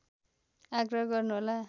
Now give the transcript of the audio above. आग्रह गर्नुहोला